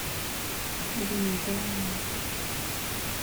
линбао